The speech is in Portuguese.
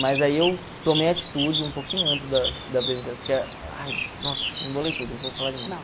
Mas aí eu tomei a atitude um pouquinho antes da da porque, ai nossa, embolei tudo, vou falar de novo.